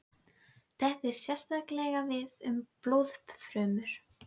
Þetta á sérstaklega við um blóðfrumur.